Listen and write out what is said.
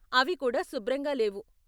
అవి కూడా శుభ్రంగా లేవు.